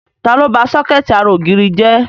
Ta ló ba sọ́kẹ̀tì ara ògiri jẹ?